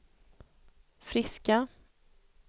friska